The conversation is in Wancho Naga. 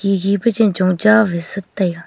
ye pa chen chong cha vai sa taega.